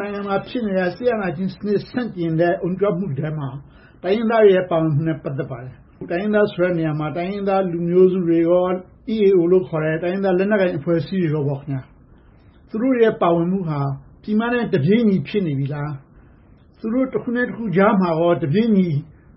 နိုင်ငံမှာ ဖြစ်နေတဲ့ စစ်အာဏာရှင်စနစ် ဆန့်ကျင်အုံကြွမှုထဲမှာ တိုင်းရင်းသားတွေရဲ့ ပါဝင်မှုနဲ့ ပတ်သက်ပါတယ်။ တိုင်းရင်းသားဆိုတဲ့နေရာမှာ တိုင်းရင်းသားလူမျိုးစုတွေနဲ့ EAO လို့ခေါ်တဲ့ တိုင်းရင်းသားလက်နက်ကိုင်အဖွဲ့အစည်းတွေပေါ့။ သူတို့ရဲ့ ပါဝင်မှုက ပြည်မနဲ့ တပြေညီဖြစ်နေပြီလား။ သူတို့ တခုနဲ့တခုကြားမှာ တပြေညီ